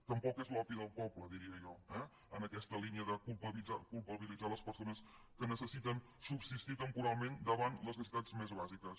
tampoc és l’opi del poble diria jo eh en aquesta línia de culpabilitzar les persones que necessiten subsistir temporalment davant les necessitats més bàsiques